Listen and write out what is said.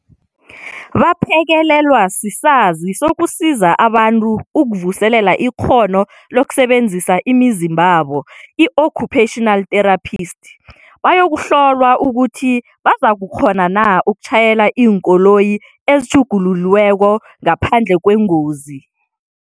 Baphekelelwa sisazi sokusiza abantu ukuvuselela ikghono lokusebenzisa imizimbabo, i-occupational therapist, bayokuhlolwa ukuthi bazakukghona na ukutjhayela iinkoloyi ezitjhugululiweko, ngaphandle kwengozi.